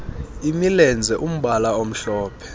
imilenze umbala omhlophe